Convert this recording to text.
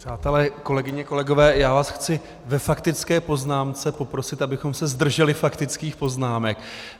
Přátelé, kolegyně, kolegové, já vás chci ve faktické poznámce poprosit, abychom se zdrželi faktických poznámek.